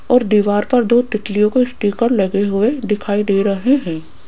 और दीवार पर दो तितलियों को स्टिकर लगे हुए दिखाई दे रहे हैं।